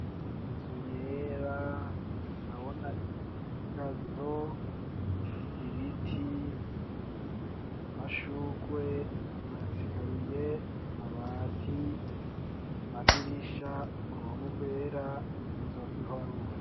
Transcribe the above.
Inzu Yera, ndabona Igazo, Ibiti, amashurwe, ama Esikariye, Amabati, Amadirisha, Uruhome rwera, Inzu bakiriko barubaka.